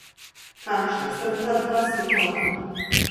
Kakšna sta ta dva svetova?